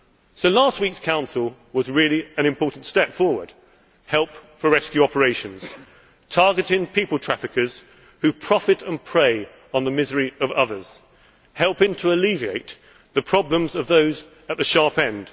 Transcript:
So last week's Council was really an important step forward help for rescue operations, targeting people traffickers who profit and prey on the misery of others, helping to alleviate the problems of those at the sharp end.